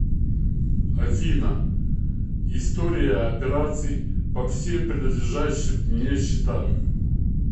афина история операций по всем принадлежащим мне счетам